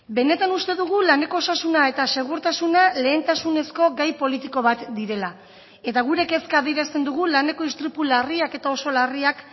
benetan uste dugu laneko osasuna eta segurtasuna lehentasunezko gai politiko bat direla eta gure kezka adierazten dugu laneko istripu larriak eta oso larriak